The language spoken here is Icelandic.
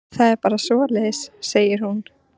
Það er bara svoleiðis, segir hún.